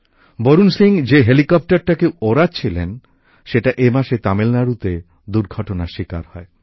বরুণ সিং যে হেলিকপ্টারকে উড়াচ্ছিলেন সেটি এ মাসে তামিলনাড়ুতে দূর্ঘটনার শিকার হয়